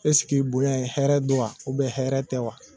Esike bonya in hɛrɛ don wa ubiyɛn hɛrɛ tɛ wa